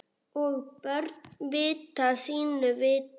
Og börn vita sínu viti.